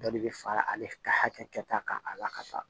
Dɔ de bɛ fara ale ka hakɛ kɛ ta kan a la ka taa